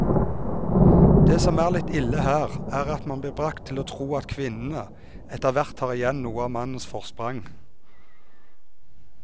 Det som er litt ille her, er at man blir bragt til å tro at kvinnene etterhvert tar igjen noe av mannens forsprang.